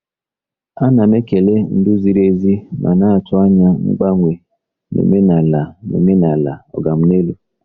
Ana m ekele ndu ziri ezi ma na-atụ anya mgbanwe n'omenala n'omenala “oga m n'elu.”